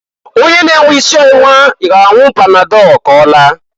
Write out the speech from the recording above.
Onye na-enwe isi ọwụwa ga-anwụ panadọl k'ọlaa.